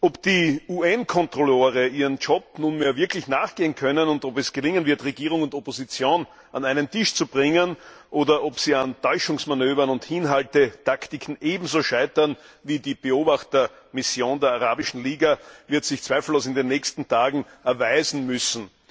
Ob die UN Kontrolleure ihrem Job nunmehr wirklich nachgehen können, und ob es gelingen wird, Regierung und Opposition an einen Tisch zu bringen, oder ob sie an Täuschungsmanövern und Hinhaltetaktiken ebenso scheitern wie die Beobachtermission der arabischen Liga, wird sich zweifellos in den nächsten Tagen erweisen müssen.